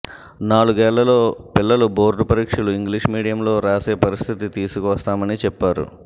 నాలుగేళ్లలో పిల్లలు బోర్డు పరీక్షలు ఇంగ్లిష్ మీడియంలో రాసే పరిస్థితి తీసుకువస్తామని చెప్పారు